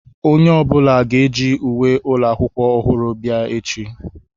Onye ọbụla ga-eji uwe ụlọ akwụkwọ ọhụrụ bịa echi.